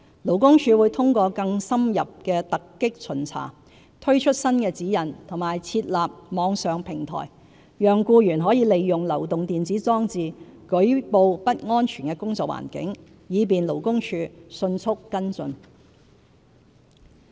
勞工處會通過更深入的突擊巡查，推出新指引及設立網上平台，讓僱員可利用流動電子裝置舉報不安全的工作環境，以便勞工處迅速跟進。